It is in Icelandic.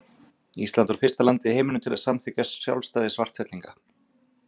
Ísland var fyrsta landið í heiminum til að samþykkja sjálfstæði Svartfellinga.